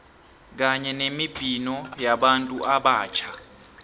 kanye nemibhino yabantu abatjha